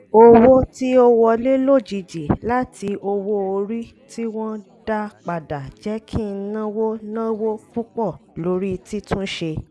owó tí ó wọlé lójijì láti owó-orí tí wọ́n dá padà jẹ́ kí n náwó náwó púpọ̀ lórí títúnṣe